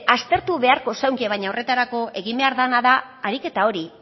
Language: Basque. aztertu beharko zenuke baina horretarako egin behar dena da ariketa hori